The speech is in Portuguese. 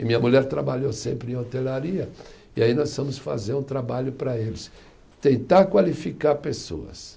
E minha mulher trabalhou sempre em hotelaria, e aí nós fomos fazer um trabalho para eles, tentar qualificar pessoas.